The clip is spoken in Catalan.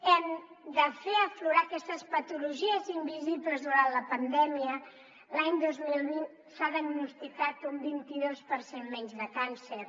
hem de fer aflorar aquestes patologies invisibles durant la pandèmia l’any dos mil vint s’ha diagnosticat un vint i dos per cent menys de càncer